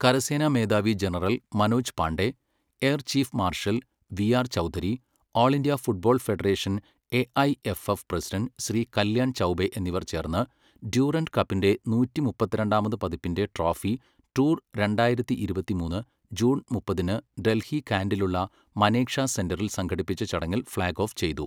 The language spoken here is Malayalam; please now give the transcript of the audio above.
കരസേനാ മേധാവി general Manoj Pande, air chief marshal V R Chaudhari, all India football federation AIFF president Shri Kalyan Chaubey എന്നിവർ ചേർന്ന് ഡ്യൂറന്ഡ് കപ്പിന്റെ നൂറ്റി മുപ്പത്തിരണ്ടാമത് പതിപ്പിന്റെ ട്രോഫി ടൂർ രണ്ടായിരത്തി ഇരുപത്തിമൂന്ന് ജൂൺ മുപ്പതിന് ഡൽഹി കാന്റിലുള്ള മനേക്ഷാ സെന്ററിൽ സംഘടിപ്പിച്ച ചടങ്ങിൽ ഫ്ളാഗ് ഓഫ് ചെയ്തു.